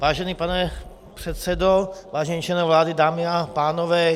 Vážený pane předsedo, vážení členové vlády, dámy a pánové.